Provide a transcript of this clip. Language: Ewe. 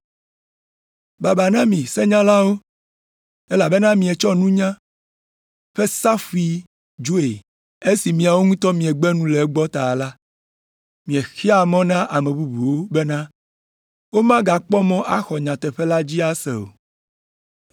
“Baba na mi senyalawo, elabena mietsɔ nunya la ƒe safui dzoe. Esi miawo ŋutɔ miegbe nu le egbɔ ta la, miexea mɔ na ame bubuwo bena womakpɔ mɔ axɔ nyateƒe la dzi ase o.”